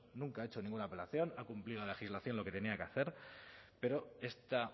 nunca ha hecho ninguna apelación ha cumplido la legislación lo que tenía que hacer pero esta